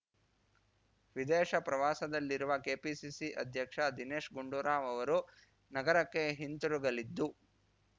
ವಿದೇಶ ಪ್ರವಾಸದಲ್ಲಿರುವ ಕೆಪಿಸಿಸಿ ಅಧ್ಯಕ್ಷ ದಿನೇಶ್‌ ಗುಂಡೂರಾವ್‌ ಅವರು ನಗರಕ್ಕೆ ಹಿಂತಿರುಗಲಿದ್ದು